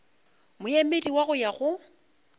moemedi wa go ya go